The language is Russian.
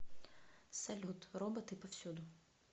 салют роботы повсюду